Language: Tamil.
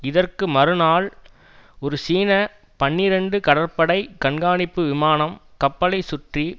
இதற்கு மறுநாள் ஒரு சீன பனிரண்டு கடற்படை கண்காணிப்பு விமானம் கப்பலைச் சுற்றி